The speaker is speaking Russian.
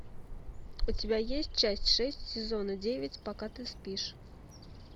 у тебя есть часть шесть сезона девять пока ты спишь